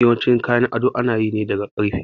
Yawancin kayan ado ana yi ne daga ƙarfe